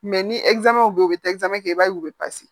ni bɛ yen u bɛ kɛ i b'a ye u bɛ